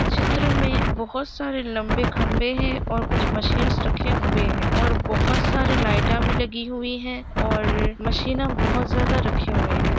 इस चित्र में बहुत सारे लंबे खम्बे है और कुछ मशीन्स रखें हुए हैं और बहुत सारी लाईटा भी लगी हुई है और मैशिना बहुत ज्यादा रखे हुए हैं।